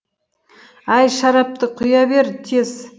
әй шарапты құя бер тез